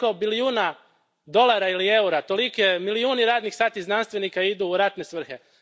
Toliko bilijuna dolara ili eura, toliki milijuni radnih sati znanstvenika idu u ratne svrhe.